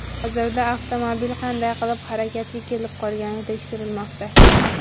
Hozirda avtomobil qanday qilib harakatga kelib qolgani tekshirilmoqda.